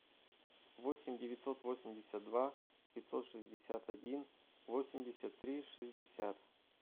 восемь девятьсот восемьдесят два пятьсот шестьдесят один восемьдесят три шестьдесят